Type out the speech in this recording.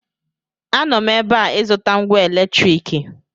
Anọ m ebe a ịzụta ngwa eletriki